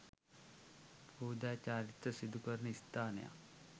පූජා චාරිත්‍ර සිදුකරන ස්ථානයක්